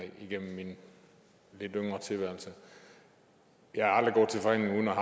igennem min lidt yngre tilværelse jeg er aldrig gået til forhandlinger